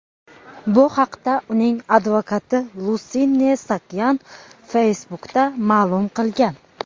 Bu haqda uning advokati Lusine Saakyan Facebook’da ma’lum qilgan.